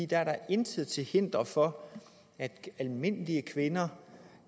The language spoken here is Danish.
der er da intet til hinder for at almindelige kvinder